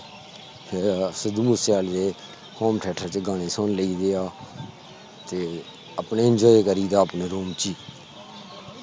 ਫਿਰ ਸਿੱਧੂ ਮੂਸੇਵਾਲੇ ਦੇ ਗਾਣੇ ਵੀ ਸੁਨ ਲਈ ਦੇ ਆ ਤੇ ਆਪਣੇ ENJOY ਕਰਿਦਾ ਦਾ ਆਪਣੇ ਰੂਮ ਚ